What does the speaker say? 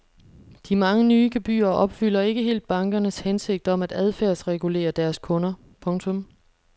De mange nye gebyrer opfylder ikke helt bankernes hensigt om at adfærdsregulere deres kunder. punktum